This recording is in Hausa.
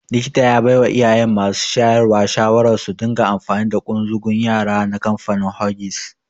Likita ya baiwa iyayen masu shayarwa shawarar su dinga amfani da ƙunzugun yara na kamfanin Huggies.